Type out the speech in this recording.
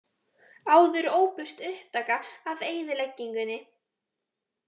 Áður óbirt upptaka af eyðileggingunni